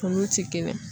Kunkolo ti kelen ye